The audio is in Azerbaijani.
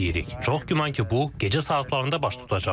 Çox güman ki, bu gecə saatlarında baş tutacaq.